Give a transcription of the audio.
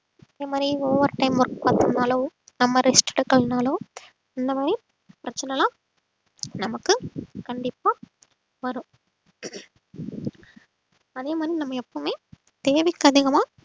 அதே மாதிரி overtime work பார்த்தோம்னாலோ நம்ம rest எடுக்கலைன்னாலோ இந்த மாதிரி பிரச்சனை எல்லாம் நமக்கு கண்டிப்பா வரும் அதே மாதிரி நம்ம எப்பவுமே தேவைக்கு அதிகமா